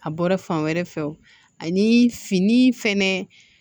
A bɔra fan wɛrɛ fɛ o ni fini fɛnɛ